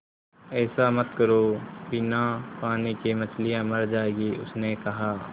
ऐसा मत करो बिना पानी के मछलियाँ मर जाएँगी उसने कहा